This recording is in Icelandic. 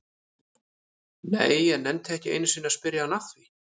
Nei, ég nennti ekki einu sinni að spyrja hann að því